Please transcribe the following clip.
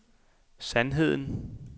sandheden